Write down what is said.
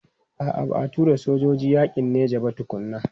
A'a ba a tura sojoji yakin Nijar ba tukuna.